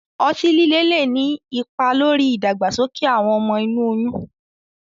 Ọti-lile le ni ipa lori idagbasoke awọn ọmọ inu oyun